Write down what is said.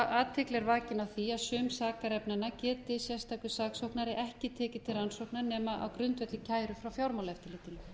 er vakin á því að sum sakarefnanna geti sérstakur saksóknari ekki tekið til rannsóknar nema á grundvelli kæru frá fjármálaeftirlitinu